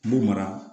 N b'u mara